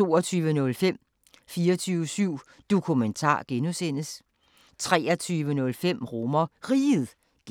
22:05: 24syv Dokumentar (G) 23:05: RomerRiget (G)